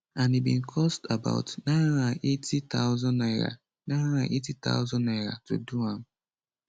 and e bin cost about 980000 naira 980000 naira to do am